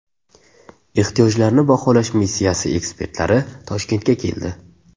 Ehtiyojlarni baholash missiyasi ekspertlari Toshkentga keldi.